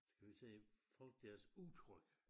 Skal vi sige folk deres udtryk